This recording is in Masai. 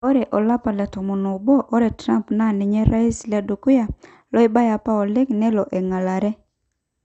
Ore olapa le tomon obo, Ore Trump naa ninye orais ledukuya loibae apa oleng nelo engelare.